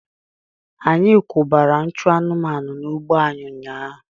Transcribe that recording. Anyị kwụbara nchụ anụmanụ n'ugbo anyị ụnyaahụ.